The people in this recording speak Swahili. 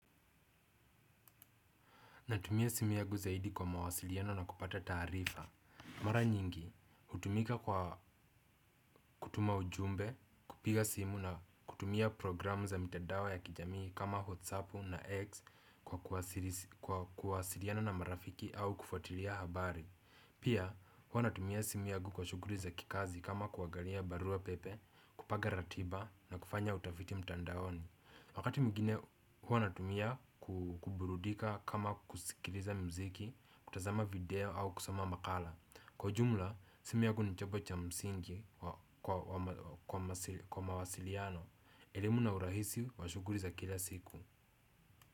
Natumia simu yagu zaidi kwa mawasiliano na kupata taarifa. Mara nyingi, utumika kwa kutuma ujumbe, kupiga simu na kutumia programu za mitandao ya kijamii kama watsapu na X kwa kuwasiliana na marafiki au kufuatilia habari. Pia, hua natumia simu yagu kwa shuguri za kikazi kama kuagalia barua pepe, kupanga ratiba na kufanya utafiti mtandaoni. Wakati mwingine huwa natumia kuburudika kama kusikiriza mziki, kutazama video au kusoma makala. Kwa jumla, simu yagu ni chobo cha msingi kwa mawasiliano. Elimu na urahisi, wa shuguli za kila siku.